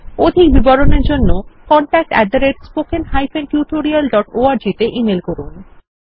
অধিক বিবরণের জন্য contactspoken tutorialorg তে ইমেল করুন